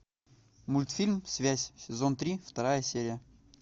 мультфильм связь сезон три вторая серия